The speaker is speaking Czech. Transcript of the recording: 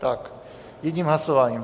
Tak jedním hlasováním.